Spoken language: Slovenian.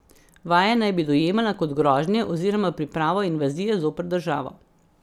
Vaje naj bi dojemala kot grožnje oziroma pripravo invazije zoper državo.